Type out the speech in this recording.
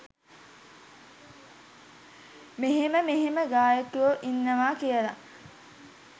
මෙහෙම මෙහෙම ගායකයො ඉන්නවා කියල.